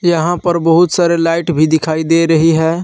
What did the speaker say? यहां पर बहुत सारे लाइट भी दिखाई दे रही हैं।